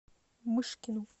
мышкину